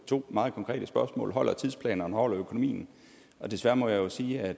to meget konkrete spørgsmål holder tidsplanen og holder økonomien desværre må jeg sige at